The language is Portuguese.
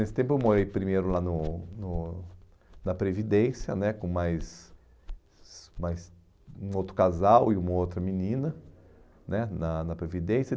Nesse tempo eu morei primeiro lá no no na Previdência né, com mais mais um outro casal e uma outra menina, né na na Previdência.